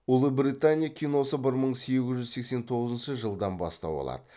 ұлыбритания киносы бір мың сегіз жүз сексен тоғызыншщы жылдан бастау алады